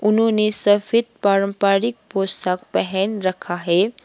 उन्होंने सफेद पारंपरिक पोशाक पहन रखा है।